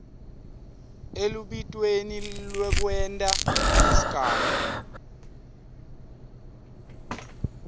elubitweni lwekwenta lesigamu